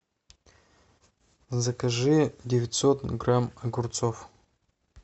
закажи девятьсот грамм огурцов